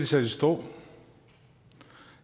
sat i stå